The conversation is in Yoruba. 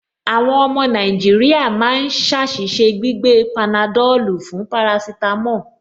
Àwọn ọmọ Nàìjíríà máa ń ṣe àṣìṣe gbígbé panadọ́lù fún parasítámọ̀